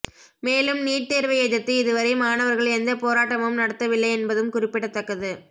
மேலும் நீட் தேர்வை எதிர்த்து இதுவரை மாணவர்கள் எந்த போராட்டமும் நடத்தவில்லை என்பதும் குறிப்பிடத்தக்கது